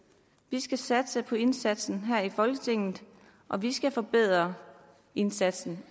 vi skal satse på indsatsen her i folketinget og vi skal forbedre indsatsen